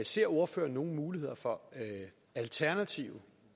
ser ordføreren nogen muligheder for alternative